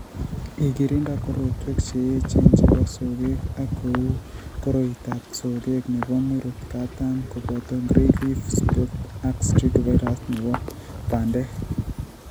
igirinda korotwek che eecheen che po sogeek, ko uu koroitap sogeek ne po murot kaataam, kobooto gray leaf spot ak streak virus ne bo bandek